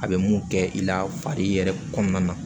A bɛ mun kɛ i la fari yɛrɛ kɔnɔna na